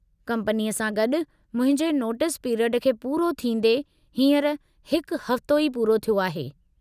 कंपनीअ सां गॾु मुंहिंजे नोटिस पिरियड खे पूरो थींदे हींअर हिकु हफ़्तो ई पूरो थियो आहे।